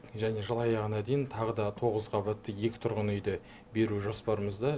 және жыл аяғына дейін тағы да тоғыз қабатты екі тұрғын үйді беру жоспарымызда